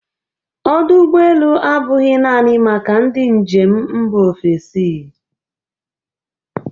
Ọdụ ụgbọ elu abụghị naanị maka ndị njem mba ofesi.